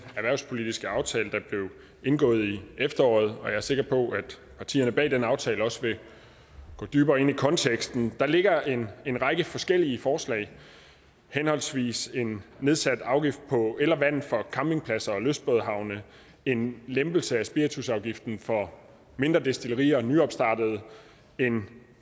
erhvervspolitiske aftale der blev indgået i efteråret og jeg er sikker på at partierne bag den aftale også vil gå dybere ind i konteksten der ligger en en række forskellige forslag henholdsvis en nedsat afgift på el og vand for campingpladser og lystbådehavne en lempelse af spiritusafgiften for mindre destillerier og for nyopstartede en